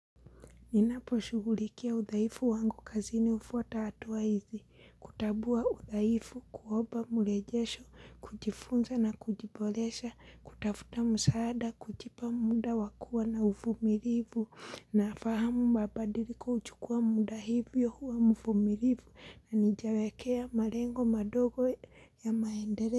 Ninaposhugulikia udhaifu wangu kazini hufuata hatua hizi, kutambua udhaifu kuomba mrejesho, kujifunza na kujiboresha, kutafuta msaada, kujipa muda wa kuwa na uvumilivu, nafahamu mabadiliko huchukua muda hivyo huwa mvumilivu, na nijawakea malengo madogo ya maendeleo.